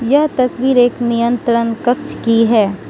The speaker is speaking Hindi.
यह तस्वीर एक नियंत्रण कक्ष की है।